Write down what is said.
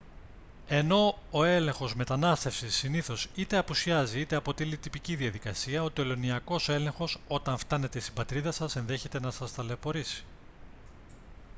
ενώ ο έλεγχος μετανάστευσης συνήθως είτε απουσιάζει είτε αποτελεί τυπική διαδικασία ο τελωνειακός έλεγχος όταν φτάνετε στην πατρίδα σας ενδέχεται να σας ταλαιπωρήσει